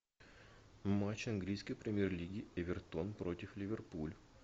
матч английской премьер лиги эвертон против ливерпуль